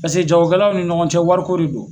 Paseke jagokɛlaw ni ɲɔgɔncɛ wariko de do.